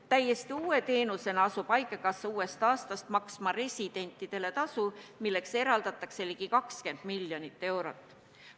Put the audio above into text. Täiesti uue teenusena asub haigekassa uuest aastast maksma residentidele tasu, milleks eraldatakse ligi 20 miljonit eurot.